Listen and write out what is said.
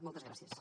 moltes gràcies